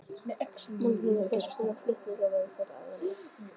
Magnús Hlynur: Hvers konar flutningar verða þetta aðallega?